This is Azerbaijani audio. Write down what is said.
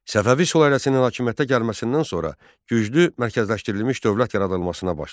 Səfəvi sülaləsinin hakimiyyətə gəlməsindən sonra güclü mərkəzləşdirilmiş dövlət yaradılmasına başlandı.